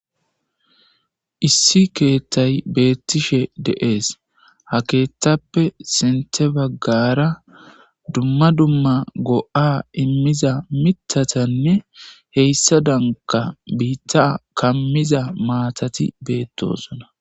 issi keethtay beettishe deees ha keettappe sinte baggara dumma dumma go7a immiza mitatanne heyssa danka biitta kammiza maatati beettosona